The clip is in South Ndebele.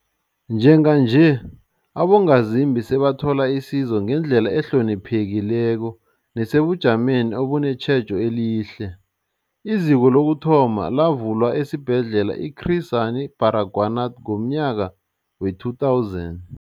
Njenganje, abongazimbi sebathola isizo ngendlela ehloniphekileko nesebujameni obunetjhejo elihle. IZiko lokuthoma lavulwa esiBhedlela i-Chris Hani Baragwanath ngomnyaka we-2000.